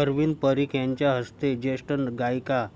अरविंद परिख यांच्या हस्ते ज्येष्ठ गायिका